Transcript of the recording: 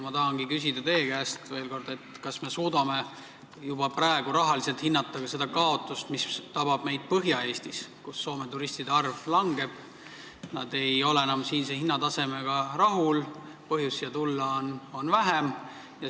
Ma tahangi küsida teie käest veel kord, kas me suudame juba praegu rahaliselt hinnata seda kaotust, mis tabab meid Põhja-Eestis, kus Soome turistide arv langeb, sest nad ei ole enam siinse hinnatasemega rahul, põhjust siia tulla on vähem.